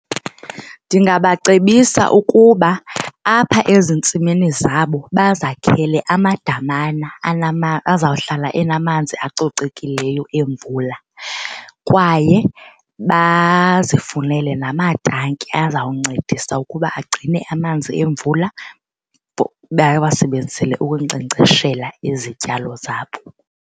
Ndingabacebisa ukuba apha ezintsimini zabo bazakhele amadamana azawuhlala enamanzi acocekileyo emvula kwaye bazifunele namatanki azawuncedisa ukuba agcine amanzi emvula bawasebenzisele ukunkcenkceshela izityalo zabo.